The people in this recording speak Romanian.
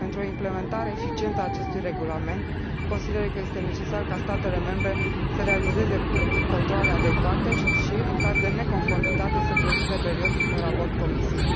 Pentru o implementare eficientă a acestui regulament, consider că este necesar ca statele membre să realizeze controale adecvate și, în caz de neconformitate, să prezinte periodic un raport Comisiei.